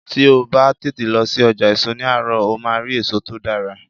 Tí o bá tètè lọ sí ọjà èso ní àárọ̀, o máa rí èso tó dára.